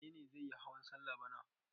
Wane ne zai yi hawan salla bana?